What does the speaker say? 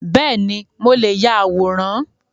Beeni, mo leè ya àwòrán